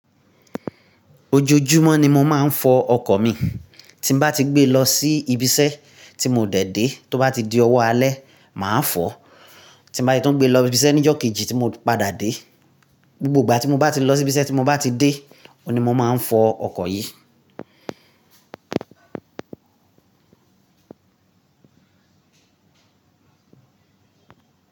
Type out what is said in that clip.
Ojoojúmọ́ ni mo máa ń fọ ọkọ̀ mi. Tí n bá ti gbé lọ sí ibi iṣẹ́ tí mo dè dé tó bá ti di ọwọ́ alẹ́, màá fọ. Tí n bá ti tún gbé lọ ibi iṣẹ́ ní ọjọ́ kejì tí mo padà dé. Gbogbo ìgbà tí mo bá ti lọ sí ibi iṣẹ́ tí mo bá ti dé, òní mo máa ń fọ ọkọ̀ yìí.